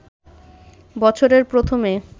বছরের প্রথমে